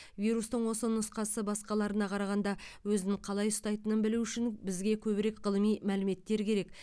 вирустың осы нұсқасы басқаларына қарағанда өзін қалай ұстайтынын білу үшін бізге көбірек ғылыми мәліметтер керек